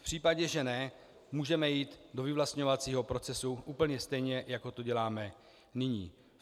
V případě, že ne, můžeme jít do vyvlastňovacího procesu úplně stejně, jako to děláme nyní.